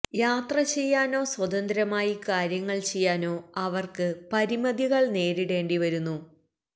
യാത്ര ചെയ്യാനോ സ്വതന്ത്രമായി കാര്യങ്ങള് ചെയ്യാനോ അവർക്ക് പരിമിതികള് നേരിടേണ്ടി വരുന്നു